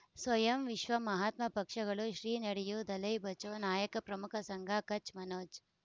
ಸ್ವಯಂ ವಿಶ್ವ ಮಹಾತ್ಮ ಪಕ್ಷಗಳು ಶ್ರೀ ನಡೆಯೂ ದಲೈ ಬಚೌ ನಾಯಕ ಪ್ರಮುಖ ಸಂಘ ಕಚ್ ಮನೋಜ್